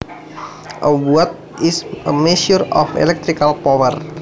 A watt is a measure of electrical power